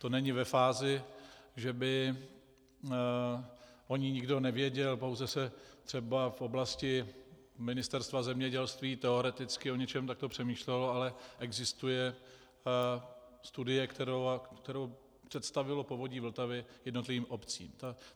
To není ve fázi, že by o ní nikdo nevěděl, pouze se třeba v oblasti Ministerstva zemědělství teoreticky o něčem takto přemýšlelo, ale existuje studie, kterou představilo Povodí Vltavy jednotlivým obcím.